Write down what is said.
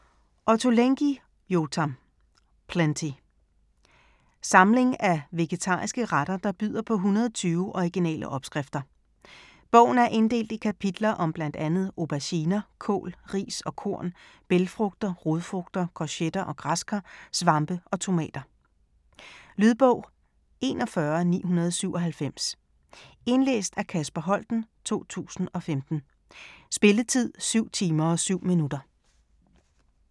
Ottolenghi, Yotam: Plenty Samling af vegetariske retter der byder på 120 originale opskrifter. Bogen er inddelt i kapitler om bl.a. auberginer, kål, ris og korn, bælgfrugter, rodfrugter, courgetter og græskar, svampe og tomater. Lydbog 41997 Indlæst af Kasper Holten, 2015. Spilletid: 7 timer, 7 minutter.